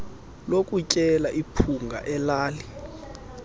lokutyela iphunga elali